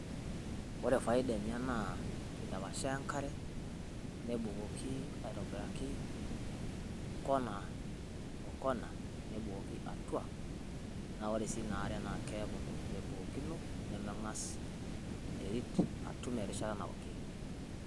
Ore faidaa enye naa kedapashaa enkare nabukoki aitobiraki kona o kona nabukoki atua na ore si naare na keaku ntokitin ebukokino nemeas enteriit atuum rishaata naokee.